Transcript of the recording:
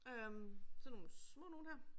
Øh sådan nogen små nogen her